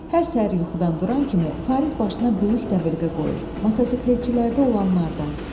Hər səhər yuxudan duran kimi Fariz başına böyük dəbilqə qoyur, motosikletçilərdə olanlardan.